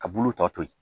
Ka bulu tɔ to yen